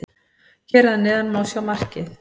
Hér að neðan má sjá markið.